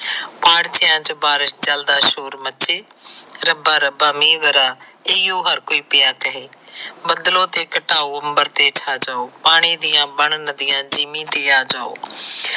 ਪਾਰਥਿਆ ਚ ਬਲਦਾ ਸ਼ੋਰ ਮਚੇ ਰੱਬਾ ਰੱਬਾ ਮੀਹ ਬਰਾ ਇਹੀਓ ਹਰ ਕੋਈ ਪਿਆ ਕਹੇ ਬੱਦਲੋ ਘਟਾਓ ਤੇ ਅੰਬਰ ਤੇ ਛਾ ਜਾਓ ਪਾਣੀ ਦੀਆਂ ਬਣਨ ਨਦੀਆਂ ਜੀਮੀ ਤੇ ਆ ਜਾਓ